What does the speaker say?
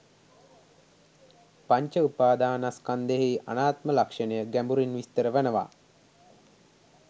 පංච උපාදානස්කන්ධයෙහි අනාත්ම ලක්ෂණය ගැඹුරින් විස්තර වනවා